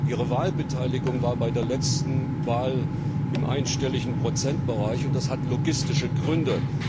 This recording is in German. Ihre Wahlbeteiligung lag bei der letzten Wahl im einstelligen Prozentbereich, und das hat logistische Gründe.